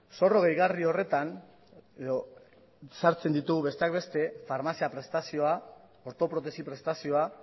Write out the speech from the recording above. zorro gehigarri horretan edo sartzen ditu besteak beste farmazia prestazioa ortoprotesi prestazioa